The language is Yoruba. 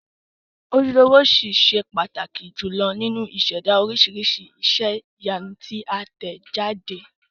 Ojúlówó ṣì ṣe pàtàkì jùlọ nínú ìṣẹ̀dá oríṣiríṣi iṣẹ́ ìyanu tí a tẹ̀ jáde.